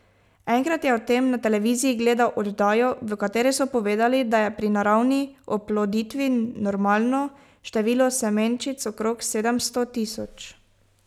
Enkrat je o tem na televiziji gledal oddajo, v kateri so povedali, da je pri naravni oploditvi normalno število semenčic okrog sedemsto tisoč.